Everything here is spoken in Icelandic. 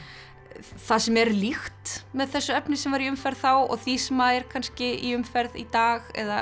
það sem er líkt með þessu efni sem var í umferð þá og því sem er kannski í umferð í dag eða